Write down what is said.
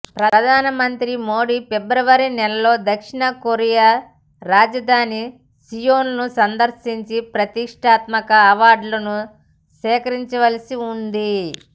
ప్రధానమంత్రి మోడీ ఫిబ్రవరినెలలో దక్షిణకొరియా రాజధాని సియోల్ను సందర్శించి ప్రతిష్టాత్మక అవార్డును స్వీకరించాల్సి ఉంది